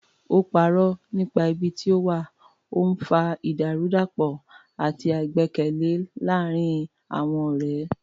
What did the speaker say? Ó parọ́ nípa ibi tí ó wà, ó ń fa ìdàrúdàpọ̀ àti àìgbẹ́kẹ̀lé láàárín àwọn ọ̀rẹ́.